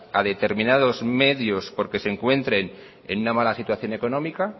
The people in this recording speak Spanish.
a determinados medios porque se encuentren en una mala situación económica